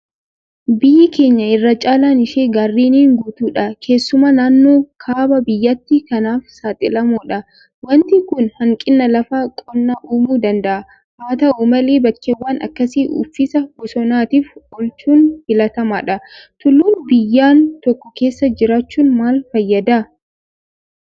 Biyyi keenya irra caalaan ishee gaarreniin guutuudha. Keessumaa naannoon kaaba biyyattii kanaaf saaxilamoodha. waanti kun hanqina lafa qonnaa uumuu danda'a. Haata'u malee bakkeewwan akkasii uffisa bosonaatiif oolchuun filatamaadha. Tulluun biyyan tokko keessa jiraachuun maal fayyada?